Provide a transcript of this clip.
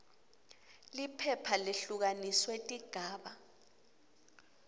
phepha lehlukaniswe tigaba